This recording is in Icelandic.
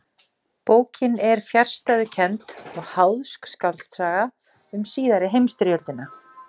Ólíkt þessu eru flest kattardýr einfarar sem helga sér óðöl og veiða einsömul.